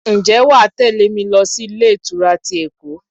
Ǹjẹ́ wà á tẹle mi lọ sí ilé ìtura ti Èkó?